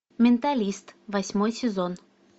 менталист восьмой сезон